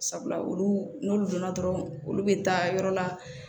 Sabula olu n'olu donna dɔrɔn olu bɛ taa yɔrɔ la